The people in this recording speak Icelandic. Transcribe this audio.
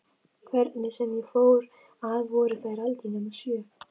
Hvernig sem ég fór að voru þær aldrei nema sjö.